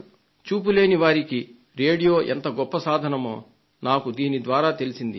చూపు లేని వారికి రేడియో ఎంత గొప్ప సాధనమో దీని ద్వారా నాకు తెలిసింది